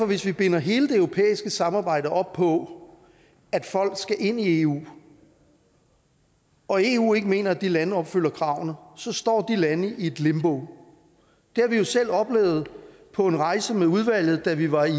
hvis vi binder hele det europæiske samarbejde op på at folk skal ind i eu og eu ikke mener at de lande opfylder kravene så står lande i et limbo det har vi jo selv oplevet på en rejse med udvalget da vi var i